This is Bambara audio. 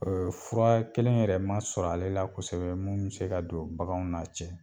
Fura kelen yɛrɛ ma sɔrɔ ale la kosɛbɛ mun bɛ se ka don baganw n'a cɛ.